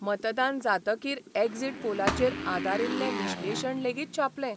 मतदान जातकीर एक्झिट पोलाचेर आदारिल्ले विश्लेशण लेगीत छापलें.